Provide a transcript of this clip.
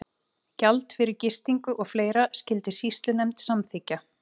Gjald fyrir gistingu og fleira skyldi sýslunefnd samþykkja.